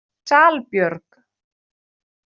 Salbjörg